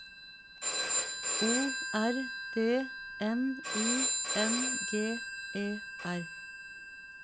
O R D N I N G E R